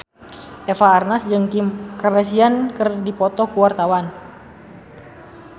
Eva Arnaz jeung Kim Kardashian keur dipoto ku wartawan